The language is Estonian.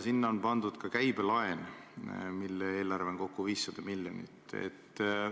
Sinna on pandud ka käibelaen, mille eelarve on kokku 500 miljonit.